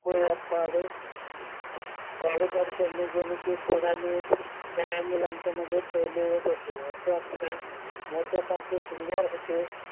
प पाढे पाट करणे गणिते सोडवणे सर्व मुलांच्या मध्ये पहिले येत असे असे अक्षर मोत्यासारखे सुंदर होते व